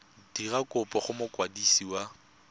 dira kopo go mokwadisi wa